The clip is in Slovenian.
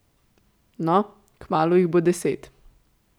No, kmalu jih bo deset.